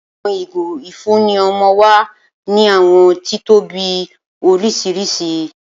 Awọn igo ifunni ọmọ wa ni awọn titobi oriṣiriṣi